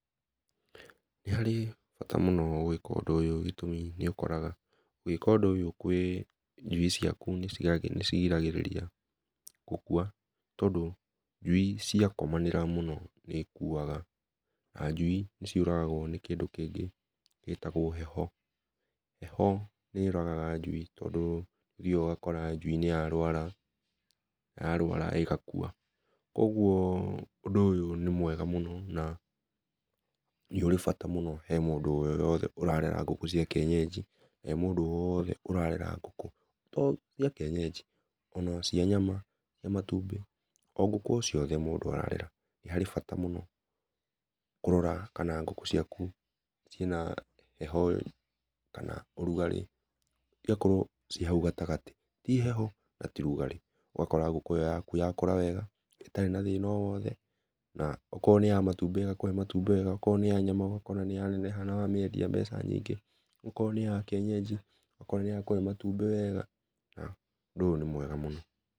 Nĩ harĩ bata mũno gũĩka ũndũ ũyũ gĩtũmĩ nĩ ũkoraga ũguĩka ũndũ ũyũ kwĩ njũi ciakũ nĩ cigiragĩrĩria , gũkũa nĩ ũndũ njũi cĩakomanĩra mũno nĩ ikũaga, na njũi nĩ ciũragagwo nĩ kĩndũ kĩngĩ gĩtagwo heho. Heho nĩ yũragaga njũi tondũ nĩ ũthĩaga ũgakora njũi nĩ ya rwara na ya rwara ĩgakũa, kũogũo ũndũ ũyũ nĩmwega mũno, na nĩ ũrĩ bata mũno harĩ mũndũ o wothe ũrarera ngũkũ cĩa kĩenyenji, na he mũndũ o wothe ũrare ngũkũ to cĩa kĩenyenji ona cĩa nyama, cia matũmbĩ, o ngũkũ o ciothe mũndũ ararera nĩ harĩ bata mũno kũrora kana ngũkũ cĩakũ cĩina heho kana ũrũgarĩ, cĩgakorwo ci haũ gatagatĩ tĩ heho na tĩ rũgarĩ ũgakora ngũkũ ĩyo yakũ yakũra wega ĩtarĩ na thĩna o wothe, na o korwo nĩ ya matũmbĩ ĩgakũhe matũmgĩ wega o korwo nĩ ya nyama ũgakora nĩya neneha na wamĩendĩa mbeca nyingĩ, o korwo nĩ yakĩenyenjĩ ũgakũhe matũmbĩ wega na ũndũ ũyũ nĩ mwega mũno.